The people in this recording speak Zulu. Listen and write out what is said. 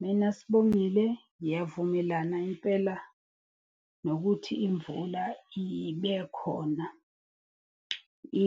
Mina Sibongile, ngiyavumelana impela nokuthi imvula ibe khona.